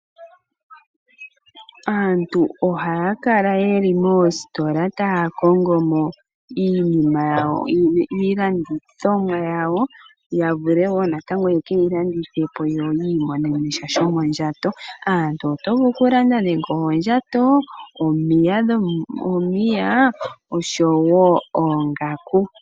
Aantu ohaya kala ye li moositola taya kongo mo iilandithomwa yawo ya vule wo ye ke yi landithe po yo yi imonene sha shomondjato. Oto vulu okulanda nande oondjato, omapaya noshowo oongaku.